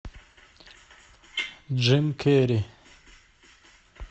джим керри